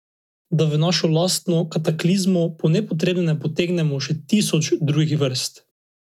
Da v našo lastno kataklizmo po nepotrebnem ne potegnemo še tisoče drugih vrst.